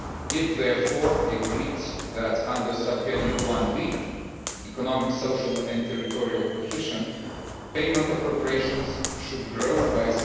It therefore agreed that under Subheading 1b, Economic, Social and Territorial Cohesion, payment appropriations should grow by